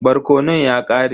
Barkonon ya ƙare.